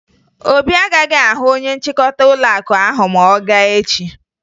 Obi agaghị ahụ onye nchịkọta ụlọakụ ahụ ma ọ gaa echi